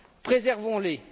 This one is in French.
Préservons les.